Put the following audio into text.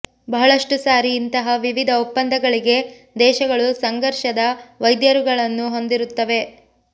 ಬಹಳಷ್ಟು ಸಾರಿ ಇಂತಹ ವಿವಿಧ ಒಪ್ಪಂದಗಳಿಗೆ ದೇಶಗಳು ಸಂಘರ್ಷದ ವೈರುಧ್ಯಗಳನ್ನು ಹೊಂದಿರುತ್ತವೆ